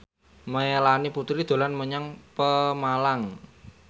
Melanie Putri dolan menyang Pemalang